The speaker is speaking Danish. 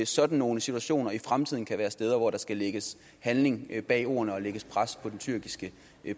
sådan nogle situationer i fremtiden kan være steder hvor der skal lægges handling bag ordene og lægges pres på den tyrkiske